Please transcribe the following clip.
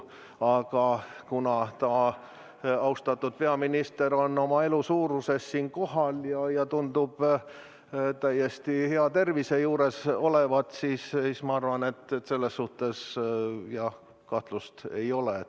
Aga kuna austatud peaminister on oma elusuuruses täna siin kohal ja tundub täiesti hea tervise juures olevat, siis ma arvan, et selles suhtes kahtlust ei ole.